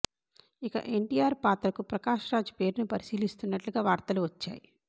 ఇక ఎన్టీఆర్ పాత్రకు ప్రకాష్ రాజ్ పేరును పరిశీలిస్తున్నట్లుగా వార్తలు వచ్చాయి